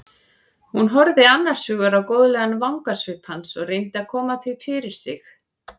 Hún horfði annars hugar á góðlegan vangasvip hans og reyndi að koma því fyrir sig.